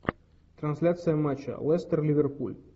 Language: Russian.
трансляция матча лестер ливерпуль